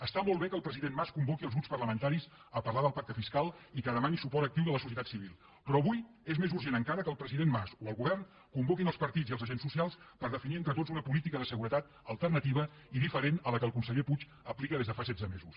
està molt bé que el president mas convoqui els grups parlamentaris a parlar del pacte fiscal i que demani suport actiu de la societat civil però avui és més urgent encara que el president mas o el govern convoquin els partits i els agents socials per definir entre tots una política de seguretat alternativa i diferent a la que el conseller puig aplica des de fa setze mesos